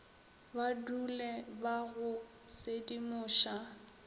ba dule ba go sedimoša